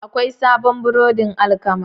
Akwai sabon burodin alkama.